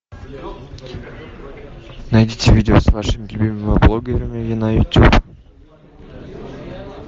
найдите видео с вашими любимыми блогерами на ютуб